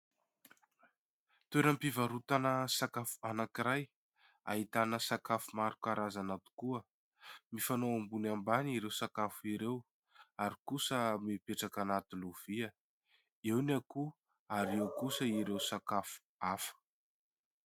Toeram-pivarotana sakafo anankiray ahitana sakafo maro karazana tokoa. Mifanao ambony ambany ireo sakafo ireo ary kosa mipetraka anaty lovia. Eo ny akoho ary eo kosa ireo sakafo hafa.